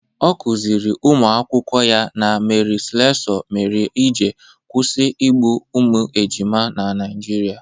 Ọ kụziiri ụmụ akwụkwọ ya na Mary Slessor mere eji kwụsị igbu ụmụ ejima na Naijiria.